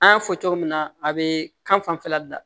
An y'a fɔ cogo min na a bee kan fanfɛla bila